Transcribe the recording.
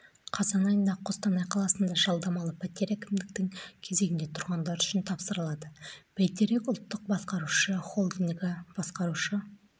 қазан айында қостанай қаласында жалдамалы пәтер әкімдіктің кезегінде тұрғандар үшін тапсырылады бәйтерек ұлттық басқарушы холдингі басқарушы